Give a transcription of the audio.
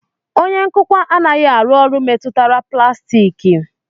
Onye nkụkwa anaghị arụ ọrụ metụtara plastiki